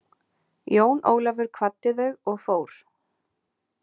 Jón Ólafur kvaddi þau og fór.